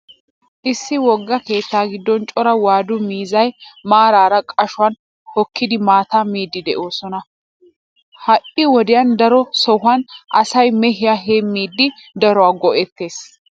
Issi wogga keettaa giddon cora waadu miizzay maaraara qashuwan hokkidi maataa miiddi de'oosona. Ha"i wodiyan daro sohuwan asay mehiya heemmidi daro go'ettees.